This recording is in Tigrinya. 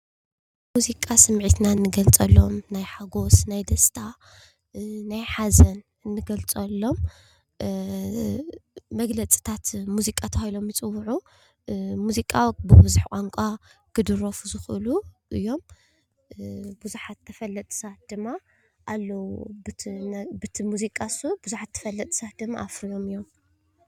ሙዚቃ ስሚዕትና እንገልፀሎም ናይ ሓጎስ ፣ናይ ደስታ ፣ናይ ሓዘን ፣እንገልፀሎም መግለፅታት ሙዚቃ ተባሂሎም ዝፅዉዑ ሙዚቃ ብቡዝሕ ቋንቋ ክድረፉ ዝክእሉ እዮም። ብዙሓት ተፈለጥቲ ሰባት ድማ ኣለው በቲ መዚቃ እሱ ብዙሓት ተፈለጥቲ ሰባት ድማ ኣፍርዮም እዮም።